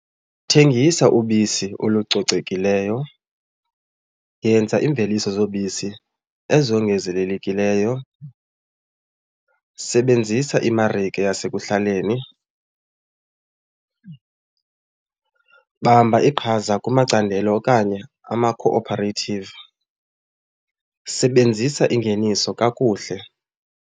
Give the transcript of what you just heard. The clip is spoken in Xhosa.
Thengisa ubisi olucocekileyo, yenza iimveliso zobisi ezongezelelekileyo, sebenzisa imarike yasekuhlaleni, bamba iqhaza kumacandelo okanye ama-cooperative, sebenzisa ingeniso kakuhle.